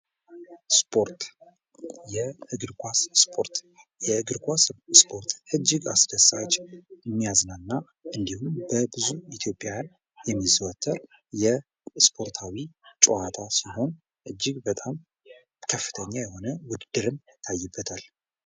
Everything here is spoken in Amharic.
ስፖርት ፦ የእግር ኳስ ስፖርት ፦ የእግር ኳስ ስፖርት እጅግ አስደሳች ፣ የሚያዝናና እንዲሁም በብዙ ኢትዮጵያውያን የሚዘወተር የስፖርታዊ ጨዋታ ሲሆን እጅግ በጣም ከፍተኛ የሆነው ውድድርም ይታይበታል ።